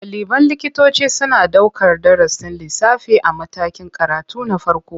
Ɗaliban likitoci suna ɗaukar darasin lissafi a matakin karatu na farko.